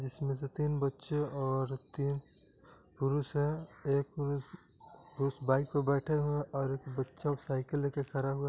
इसमें से तीन बच्चे और तीन पुरुष है एक पुरुष पुरुष बाइक पे बैठे है और एक बच्चा साइकिल लेके खड़ा हुआ है।